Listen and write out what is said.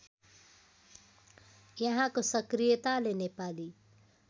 यहाँको सक्रियताले नेपाली